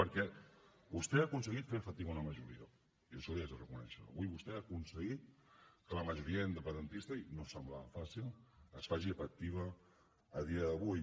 perquè vostè ha aconseguit fer efectiva una majoria i això l’hi haig de reconèixer avui vostè ha aconseguit que la majoria independentista i no semblava fàcil es faci efectiva a dia d’avui